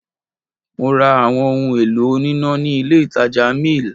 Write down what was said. Mo ra àwọn ohun èlò oníná ní ilé ìtàjà mill.